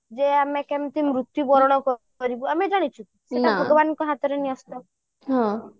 ଯେ ଆମେ କେମିତି ମୃତ୍ୟୁବରଣ କରିବୁ ଆମେ ଜାଣିଛୁ କି ସେଇଟା ଭଗବାନଙ୍କ ହାତରେ ନ୍ୟସ୍ତ